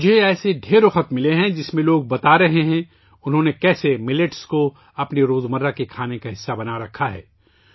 مجھے ایسے بہت سے خطوط ملے ہیں ، جس میں لوگ بتا رہے ہیں کہ انہوں نے کیسے موٹے اناج کو اپنی یومیہ خوراک کا حصہ بنایا ہوا ہے